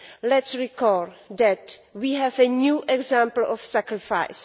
Let us recall that we have a new example of sacrifice.